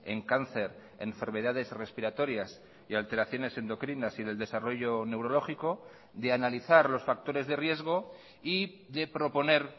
en cáncer enfermedades respiratorias y alteraciones endocrinas y en el desarrollo neurológico de analizar los factores de riesgo y de proponer